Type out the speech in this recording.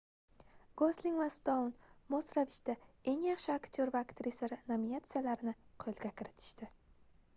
gosling va stoun mos ravishda eng yaxshi aktyor va aktrisa nominatsiyalarini qoʻlga kiritishdi